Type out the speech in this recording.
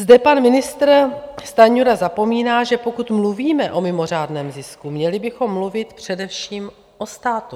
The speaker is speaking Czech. Zde pan ministr Stanjura zapomíná, že pokud mluvíme o mimořádném zisku, měli bychom mluvit především o státu.